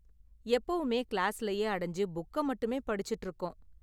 எப்போவுமே கிளாஸ்லேயே அடைஞ்சு புக்க மட்டுமே படிச்சுட்டு இருக்கோம்.